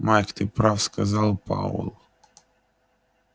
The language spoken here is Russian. майк ты прав сказал пауэлл